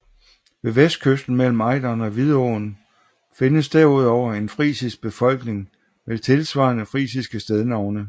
Ved vestkysten mellem Ejderen og Vidåen findes derudover en frisisk befolkning med tilsvarende frisiske stednavne